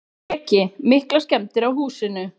Breki: Miklar skemmdir á húsinu?